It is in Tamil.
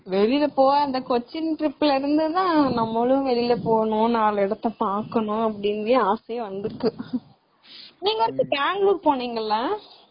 வெளியில போனும் அந்த கொச்சின் trip ல இருந்துதான் நம்மளும் வெளியில போகணும், நாலு இடத்த பாக்கணும் ஆசையே வந்துருக்கு. நீங்க அடுத்து பெங்களுர் போன்னிங்கள?